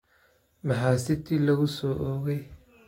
Maxaa city lagu soo oogay?